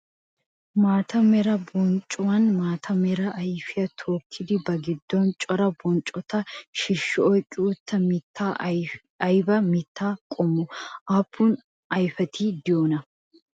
Maata mera bonccuwaanne maata mera ayfiyaa tookkidi ba giddon cora bonccota shiishshi oyqqi uttida mittay ayiba mitta qommo? Aappun ayfeti de'iyoonaa?